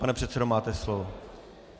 Pane předsedo, máte slovo.